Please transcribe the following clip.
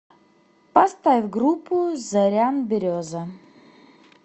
поставь группу зорян береза